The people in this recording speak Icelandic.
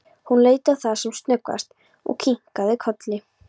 Hún leit á það sem snöggvast og kinkaði kolli.